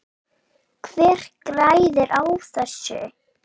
Hver græðir á þessu?